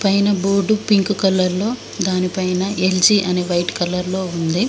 పైన board pink colour లో దాని పైన ఎల్జీ అని వైట్ కలర్ లో ఉంది.